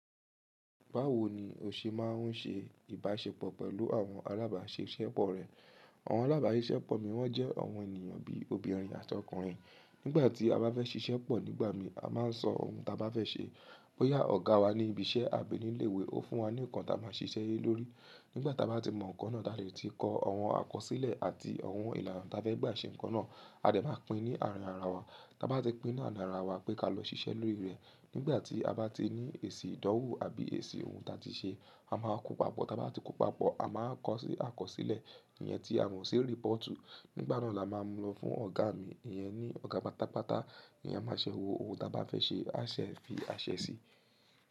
Báwo ni o ṣe máa ń ṣe ìbáṣepọ̀ pẹ̀lú àwọn alábáṣiṣẹ́pọ̀ rẹ? Àwọn alábáṣiṣẹ́pọ̀ mi wọ́n jẹ́ àwọn ènìyàn bí obìnrin àti ọkùnrin. Nígbà tí a bá fẹ́ ṣiṣẹ́ pọ̀ nígbà mi, a máa ń sọ ohun ta bá fẹ́ ṣe. Bóyá ọ̀gá wa ní ibi iṣẹ́ àbí ní ilé ìwé, ó fún wa ní ǹkan ta máa ṣiṣẹ́ lórí. Nígbà tí a bá ti mọ ǹkan náà, la lè ti kọ àwọn àkọsílẹ̀ àti àwọn ìlànà ta bá fẹ́ gba ṣe ǹkan náà. A dè máa pín ní àárín ara wa. Táa bá ti pín náà ní ara wa pé ká lọ ṣiṣẹ́ lórí rẹ̀. Nígbà tí a bá ti ní èsì ìdánwò àbí èsì ohun ta ti ṣe, a máa kó papọ̀. Táa bá ti kó papọ̀, a máa kọ sí àkọsílẹ̀. Iyẹn tí a ò mọ si report. Nígbà náà la máa ń lọ fún ọ̀gá mi. Iyẹn ni ọ̀gá pátápátá ni a máa ṣẹ́ wo ohun ta bá fẹ́ ṣe àṣẹ fi àṣẹ sí.